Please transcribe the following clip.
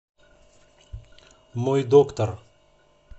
мой доктор